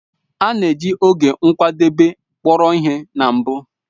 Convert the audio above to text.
A na-eji oge nkwadebe kpọrọ ihe na mbụ